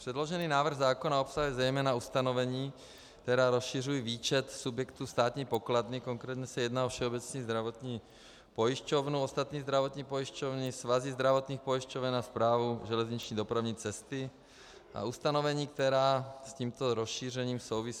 Předložený návrh zákona obsahuje zejména ustanovení, která rozšiřují výčet subjektů Státní pokladny, konkrétně se jedná o Všeobecnou zdravotní pojišťovnu, ostatní zdravotní pojišťovny, svazy zdravotních pojišťoven a Správu železniční dopravní cesty, a ustanovení, která s tímto rozšířením souvisí.